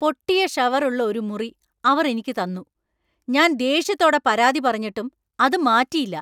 പൊട്ടിയ ഷവർ ഉള്ള ഒരു മുറി അവർ എനിക്ക് തന്നു, ഞാൻ ദേഷ്യത്തോടെ പരാതി പറഞ്ഞിട്ടും അത് മാറ്റിയില്ല.